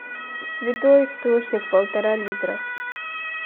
святой источник полтора литра